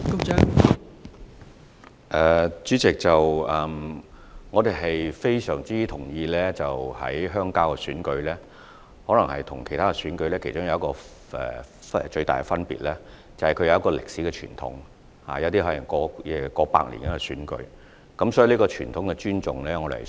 代理主席，我們非常同意鄉郊選舉與其他選舉的其中一個重大分別，是其歷史傳統，其中一些選舉可能已有超過半世紀歷史，所以我們有需要尊重傳統。